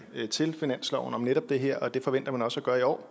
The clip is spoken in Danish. til finansloven om netop det her og det forventer man også at gøre i år